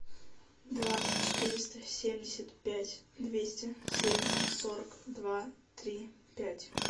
два четыреста семьдесят пять двести семь сорок два три пять